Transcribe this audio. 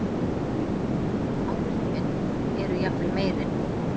Áhrifin eru jafnvel meiri.